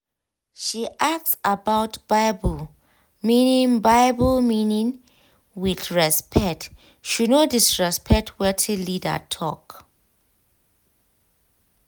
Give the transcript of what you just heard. she ask about bible meaning bible meaning with respect she no disrespect wetin leader talk